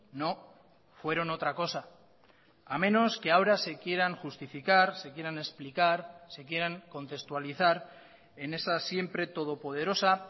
no fueron otra cosa a menos que ahora se quieran justificar se quieran explicar se quieran contextualizar en esa siempre todopoderosa